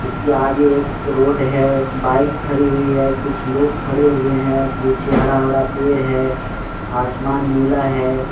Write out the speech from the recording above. इसके आगे एक रोड हैबाइक खरी हुई है कुछ लोग खड़े हुए हैपीछे हरा-भरा पेड़ हैआसमान नीला है।